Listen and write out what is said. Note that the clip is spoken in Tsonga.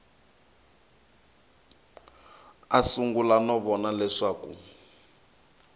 a sungula no vona leswaku